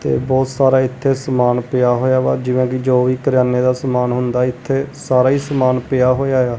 ਤੇ ਬਹੁਤ ਸਾਰਾ ਇਥੇ ਸਮਾਨ ਪਿਆ ਹੋਇਆ ਵਾ ਜਿਵੇਂ ਕਿ ਜੋ ਵੀ ਕਰਿਆਨੇ ਦਾ ਸਮਾਨ ਹੁੰਦਾ ਇਥੇ ਸਾਰਾ ਹੀ ਸਮਾਨ ਪਿਆ ਹੋਇਆ ਆ।